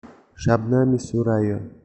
шабнами сурайо